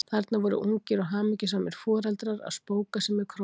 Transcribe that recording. Þarna voru ungir og hamingjusamir foreldrar að spóka sig með krógann!